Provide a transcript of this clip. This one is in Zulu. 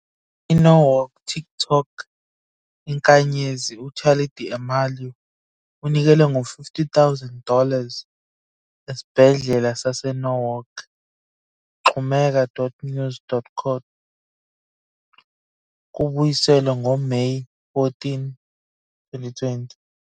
INorwalk TikTok inkanyezi uCharli D'Amelio unikele ngo- 50 000 dollars esibhedlela saseNorwalk. xhumeka.news12.com. Kubuyiselwe ngoMeyi 14, 2020.